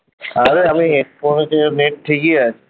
অরে আমি নেট ঠিকি আছে